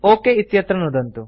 okay इत्यत्र नुदन्तु